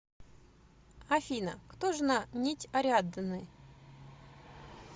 афина кто жена нить ариадны